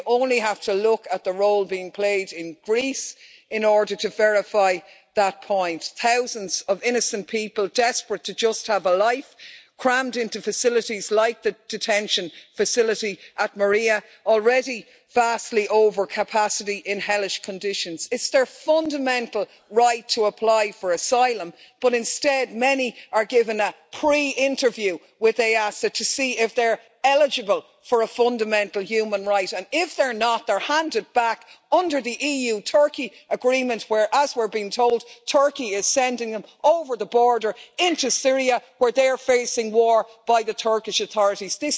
You only have to look at the role being played in Greece in order to verify that point thousands of innocent people, desperate to just have a life, are crammed into facilities like the detention facility at Moria, already vastly overcapacity, in hellish conditions. It's their fundamental right to apply for asylum, but instead many are given a pre interview with EASO to see if they're eligible for a fundamental human right. If they're not, they are handed back under the EU Turkey agreement where, as we're being told, Turkey is sending them over the border into Syria, where they're facing war by the Turkish authorities.